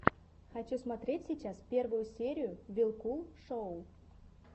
хочу смотреть сейчас первую серию вилкул шоу